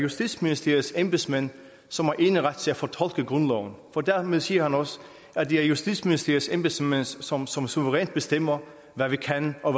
justitsministeriets embedsmænd som har eneret til at fortolke grundloven for dermed siger han også at det er justitsministeriets embedsmænd som som suverænt bestemmer hvad vi kan og